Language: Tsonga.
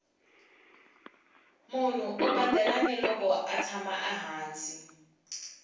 munhu u badela ni loko atshama hansi